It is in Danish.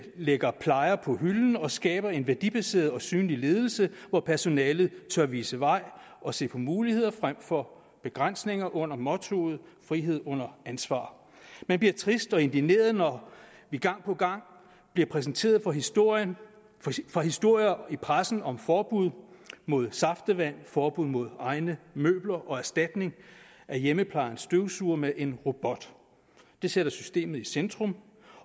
lægger plejer på hylden og skaber en værdibaseret og synlig ledelse hvor personalet tør vise vejen og se på muligheder frem for begrænsninger under mottoet frihed under ansvar man bliver trist og indigneret når vi gang på gang bliver præsenteret for historier for historier i pressen om forbud mod saftevand forbud mod egne møbler og erstatning af hjemmeplejens støvsuger med en robot det sætter systemet i centrum